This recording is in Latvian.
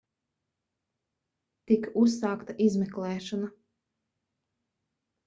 tika uzsākta izmeklēšana